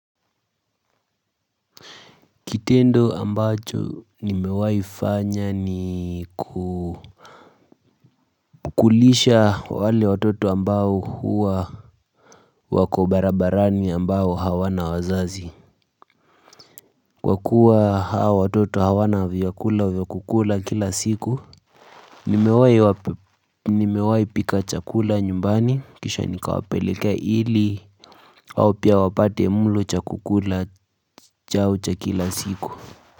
Kitendo ambacho nimewahi fanya ni kukulisha wale watoto ambao huwa wako barabarani ambao hawana wazazi. Kwa kuwa hawa watoto hawana vyakula vya kukula kila siku, nimewahi pika chakula nyumbani, kisha nikawapelekea ili, hao pia wapate mlo cha kukula chao cha kila siku.